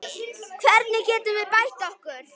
Hvernig getum við bætt okkur?